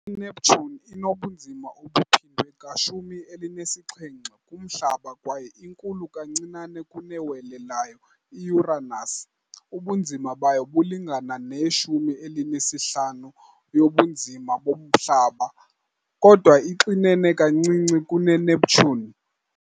INeptune inobunzima obuphindwe ka-17 kuMhlaba kwaye inkulu kancinane kunewele layo i- Uranus, ubunzima bayo bulingana ne-15 yobunzima boMhlaba, kodwa ixinene kancinane kuneNeptune.